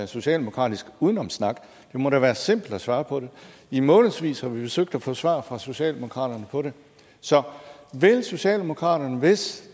socialdemokratisk udenomssnak det må da være simpelt at svare på det i månedsvis har vi forsøgt at få svar fra socialdemokratiet på det så vil socialdemokratiet hvis